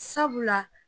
Sabula